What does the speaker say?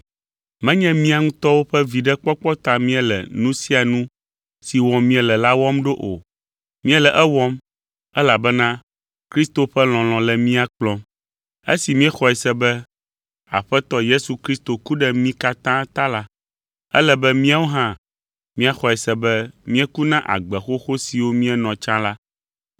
Menye mía ŋutɔwo ƒe viɖekpɔkpɔ ta míele nu sia nu si wɔm míele la wɔm ɖo o; míele ewɔm, elabena Kristo ƒe lɔlɔ̃ le mía kplɔm. Esi míexɔe se be Aƒetɔ Yesu Kristo ku ɖe mí katã ta la, ele be míawo hã míaxɔe se be míeku na agbe xoxo siwo míenɔna tsã la.